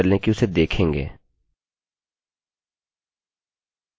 यदि आपने getगेट ट्यूटोरियल पहले से नहीं देखा है तो आप यह सुनिश्चित कर लें कि उसे देखेंगे